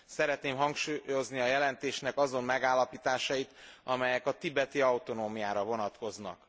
Szeretném hangsúlyozni a jelentésnek azon megállapításait, amelyek a tibeti autonómiára vonatkoznak.